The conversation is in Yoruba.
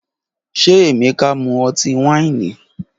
Ṣe Emeka mu ọti-waini?